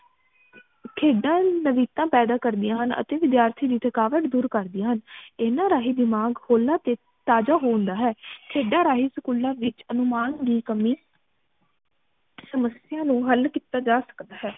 ਖੇਡਾਂ ਨਵਿਤਾ ਪੈਦਾ ਕਰਦੀ ਹਨ ਅਤੇ ਵਿਦਿਆਰਥੀ ਦੀ ਥਕਾਵਟ ਦੂਰ ਕਰਦੀ ਹਨ ਇਹਨਾਂ ਰਾਹੀਂ ਦਿਮਾਗ ਹੋਲਾ ਤੇ ਤਾਜ਼ਾ ਹੁੰਦਾ ਹੈ ਖੇਡਾਂ ਰਾਹੀਂ ਸਕੂਲਾਂ ਵਿਚ ਅਨੁਮਾਨ ਦੀ ਕਮੀ ਸਮਸਿਆ ਨੂੰ ਹਲ ਕੀਤਾ ਜਾ ਸਕਦਾ ਹੈ